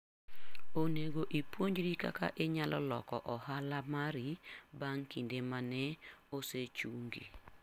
Onego ipuonjri kaka inyalo loko ohala mari bang' kinde ma ne osechungi.